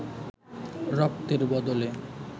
রক্তের বদলে